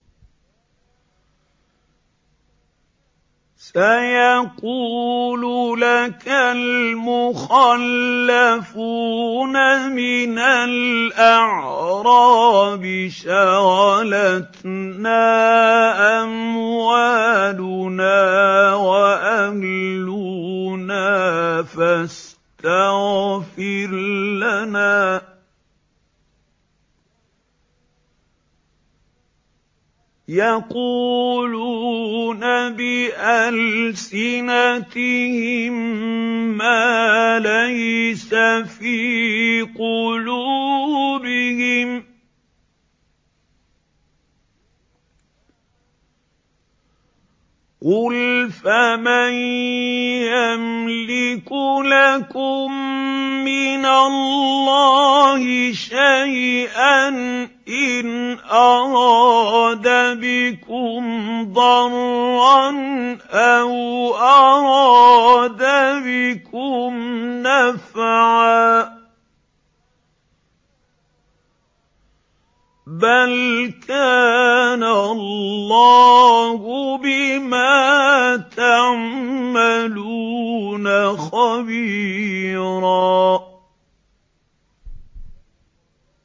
سَيَقُولُ لَكَ الْمُخَلَّفُونَ مِنَ الْأَعْرَابِ شَغَلَتْنَا أَمْوَالُنَا وَأَهْلُونَا فَاسْتَغْفِرْ لَنَا ۚ يَقُولُونَ بِأَلْسِنَتِهِم مَّا لَيْسَ فِي قُلُوبِهِمْ ۚ قُلْ فَمَن يَمْلِكُ لَكُم مِّنَ اللَّهِ شَيْئًا إِنْ أَرَادَ بِكُمْ ضَرًّا أَوْ أَرَادَ بِكُمْ نَفْعًا ۚ بَلْ كَانَ اللَّهُ بِمَا تَعْمَلُونَ خَبِيرًا